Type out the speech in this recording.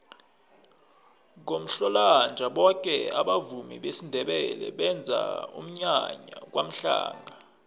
ngomhlolanja boke abavumi besindebele benza umnyanya kwamhlanga